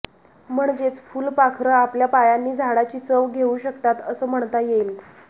म्हणजेच फुलपाखरं आपल्या पायांनी झाडाची चव घेऊ शकतात असं म्हणता येईल